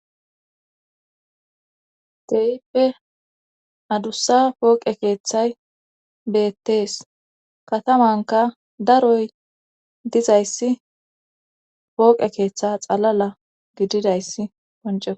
Te7ippe adussa pooqe keeththay beettees katamanka daroy dizayssi pooqe keeththe xalala gididayssi ponc.